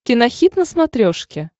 кинохит на смотрешке